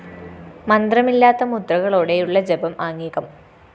മന്ത്രമില്ലാത്ത മുദ്രകളോടെയുള്ള ജപം ആംഗികം